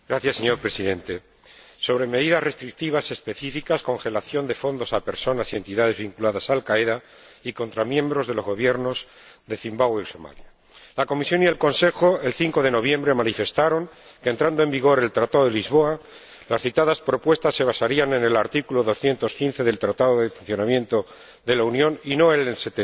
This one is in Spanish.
Señor Presidente, sobre medidas restrictivas específicas, congelación de fondos a personas y entidades vinculadas a Al Qaeda y contra miembros de los gobiernos de Zimbabue y Somalia, la Comisión y el Consejo manifestaron, el 5 de noviembre, que, una vez que entrara en vigor el Tratado de Lisboa, las citadas propuestas se basarían en el artículo 215 del Tratado de Funcionamiento de la Unión Europea y no en el artículo